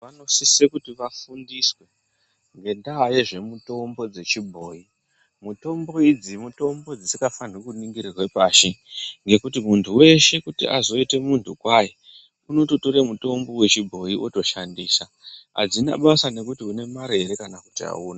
Vanosiswe kuti vafundiswe ngenda yezvemitombo yechibhoyi mitombo idzi mitombo dzisikafaniri kuningirirwe pashi ngekuti muntu weshe kuti azoite muntu kwaye unototore mutombo wechibhoyi wotoshandisa adzina basa nekuti une mare here kana kuti hauna.